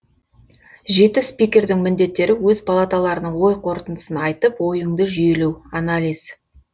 жеті спикердің міндеттері өз палаталарының ой қортындысын айтып ойыңды жүйелеу анализ